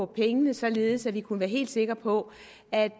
pengene således at vi kunne være helt sikre på at